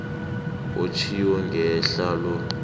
otjhiwo ngehla lo